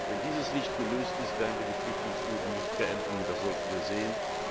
Wenn dies nicht gelöst ist, werden wir die Flüchtlingsfluten nicht beenden, das sollten wir sehen.